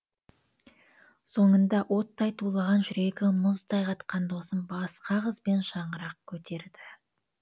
соңында оттай тулаған жүрегі мұздай қатқан досым басқа қызбен шаңырақ көтерді